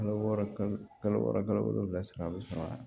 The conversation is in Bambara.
Kalo wɔɔrɔ kalo wɔɔrɔ kalo wolonwula saga a bɛ sɔn wa